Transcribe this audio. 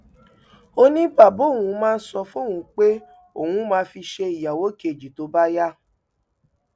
ó ní bàbá òun máa ń sọ fóun pé òun máa fi í ṣe ìyàwó kejì tó bá yá